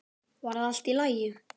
Var það allt í lagi?